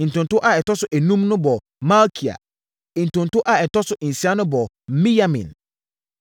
Ntonto a ɛtɔ so enum no bɔɔ Malkia. Ntonto a ɛtɔ so nsia no bɔɔ Miyamin.